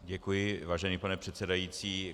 Děkuji, vážený pane předsedající.